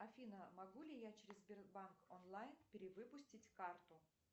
афина могу ли я через сбербанк онлайн перевыпустить карту